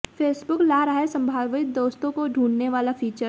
Facebook ला रहा संभावित दोस्तों को ढूंढने वाला फीचर